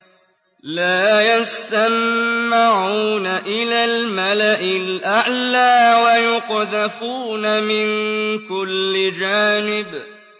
لَّا يَسَّمَّعُونَ إِلَى الْمَلَإِ الْأَعْلَىٰ وَيُقْذَفُونَ مِن كُلِّ جَانِبٍ